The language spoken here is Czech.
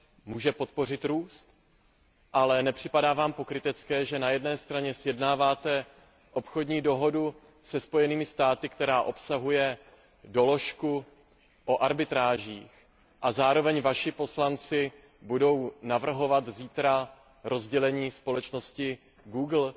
může podpořit růst, ale nepřipadá vám pokrytecké, že na jedné straně sjednáváte obchodní dohodu se Spojenými státy, která obsahuje doložku o arbitrážích, a zároveň vaši poslanci budou navrhovat zítra rozdělení společnosti Google?